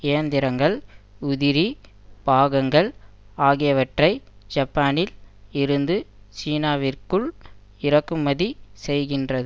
இயந்திரங்கள் உதிரி பாகங்கள் ஆகியவற்றை ஜப்பானில் இருந்து சீனாவிற்குள் இறக்குமதி செய்கிறது